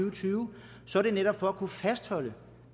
og tyve så er det netop for at kunne fastholde